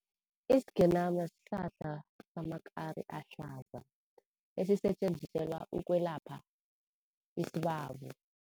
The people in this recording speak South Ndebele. Isigenama sihlahla samakari ahlaza esisetjenziselwa ukwelapha isibabo.